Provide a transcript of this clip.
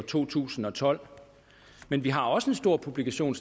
to tusind og tolv men vi har også en stor publikation